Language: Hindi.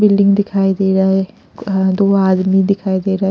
बिल्डिंग दिखाई दे रहा है अ अ दो आदमी दिखाई दे रहा है।